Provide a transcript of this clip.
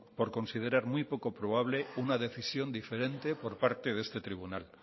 por considerar muy poco probable una decisión diferente por parte de este tribunal